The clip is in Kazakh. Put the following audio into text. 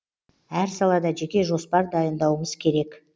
әр салада жеке жоспар дайындауымыз керек